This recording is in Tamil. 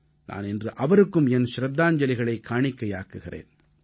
நான் இன்று அவருக்கும் என் ச்ரத்தாஞ்சலிகளைக் காணிக்கையாக்குகிறேன்